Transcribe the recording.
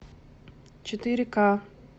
четыре ка